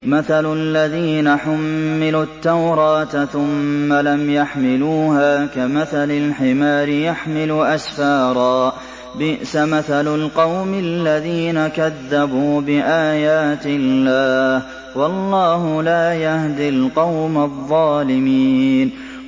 مَثَلُ الَّذِينَ حُمِّلُوا التَّوْرَاةَ ثُمَّ لَمْ يَحْمِلُوهَا كَمَثَلِ الْحِمَارِ يَحْمِلُ أَسْفَارًا ۚ بِئْسَ مَثَلُ الْقَوْمِ الَّذِينَ كَذَّبُوا بِآيَاتِ اللَّهِ ۚ وَاللَّهُ لَا يَهْدِي الْقَوْمَ الظَّالِمِينَ